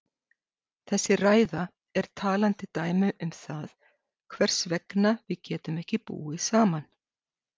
Þessi ræða er talandi dæmi um það hvers vegna við getum ekki búið saman.